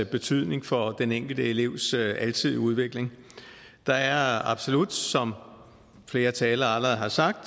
betydning for den enkelte elevs alsidige udvikling der er absolut som flere talere allerede har sagt